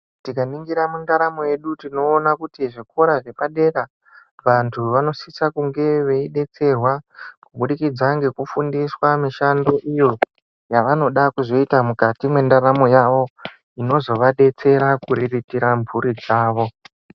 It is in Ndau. Tikaningira mundaramo yedu tinoona kuti zvikora zvepadera vantu vanosise kunge veidetserwa kubudikidza ngekufundiswa mishando iyo yavanoda kuzoita mukati mwendaramo yavo, inozovadetsera kuriritira mhuri dzavo.